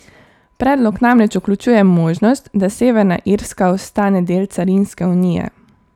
Predlog namreč vključuje možnost, da Severna Irska ostane del carinske unije.